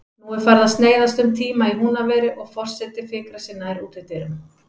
Nú er farið að sneiðast um tíma í Húnaveri og forseti fikrar sig nær útidyrum.